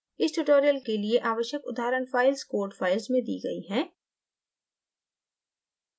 इस tutorial के लिए आवश्यक उदाहरण files code files में the गयी हैं